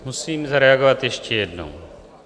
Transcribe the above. Musím zareagovat ještě jednou.